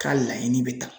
K'a laɲini bɛ ta